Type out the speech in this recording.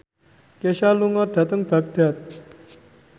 Kesha lunga dhateng Baghdad